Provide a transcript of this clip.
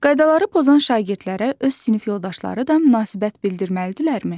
Qaydaları pozan şagirdlərə öz sinif yoldaşları da münasibət bildirməlidirlərmi?